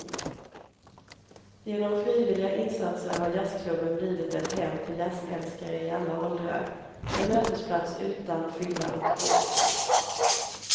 Genom frivilliga insatser har jazzklubben blivit ett hem för jazzälskare i alla åldrar, en mötesplats utan fylla och bråk.